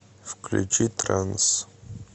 включи транс